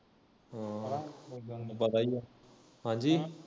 ਹੈ ਉਦਾ ਤੁਹਾਨੂੰ ਪਤਾ ਹੀ ਆ ਹਾਂਜੀ